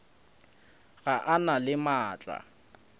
ga a na le maatla